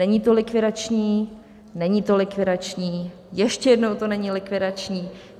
Není to likvidační, není to likvidační, ještě jednou, to není likvidační.